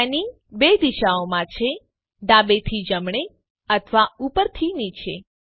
panning 2 દિશાઓમાં છે ડાબેથી જમણે અથવા ઉપરથી નીચે